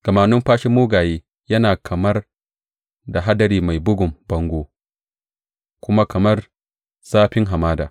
Gama numfashin mugaye yana kamar da hadari mai bugun bango kuma kamar zafin hamada.